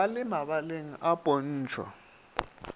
ba le mabaleng a pontšho